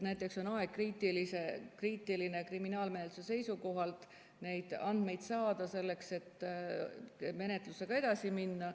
Näiteks on kriminaalmenetluse huvides, selleks et menetlusega edasi minna, aegkriitiline need andmed saada.